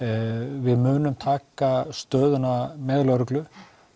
við munum taka stöðuna með lögreglu